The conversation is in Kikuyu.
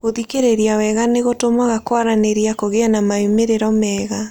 Gũthikĩrĩria wega nĩ gũtũmaga kwaranĩria kũgĩe na moimĩrĩro mega.